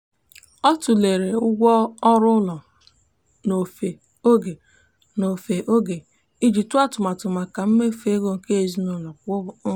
ọ tụlere ụgwọ ọrụ ụlọ n'ofe oge n'ofe oge iji tụọ atụmatụ maka mmefu ego nke ezinụụlọ kwa ọnwa.